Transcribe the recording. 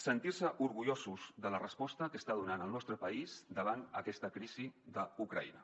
sentir nos orgullosos de la resposta que està donant el nostre país davant aquesta crisi d’ucraïna